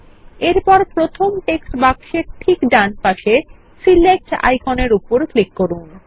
এরপরপ্রথম text বাক্সের ঠিক ডান পাশে সিলেক্ট আইকনের উপর ক্লিক করুন